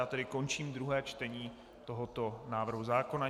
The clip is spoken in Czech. Já tedy končím druhé čtení tohoto návrhu zákona.